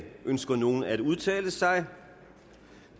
ønsker nogen at udtale sig